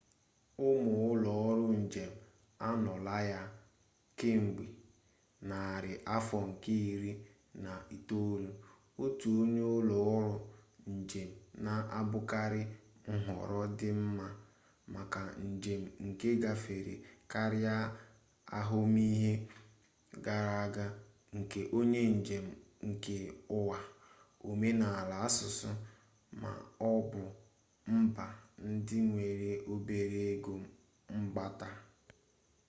ụmụ ụlọ ọrụ njem anọọla ya kemgbe narị afọ nke iri na itoolu otu onye ụlọ ọrụ njem na-abụkarị nhọrọ dị mma maka njem nke gafere karịa ahụmihe gara aga nke onye njem nke ụwa omenala asụsụ ma ọ bụ mba ndị nwere obere ego mkpata